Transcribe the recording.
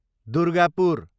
Durgapur